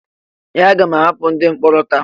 Ee! A ga-ahapụ ndị mkpọrọ taa.